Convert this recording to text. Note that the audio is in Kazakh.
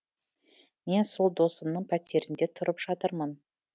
мен сол досымның пәтерінде тұрып жатырмын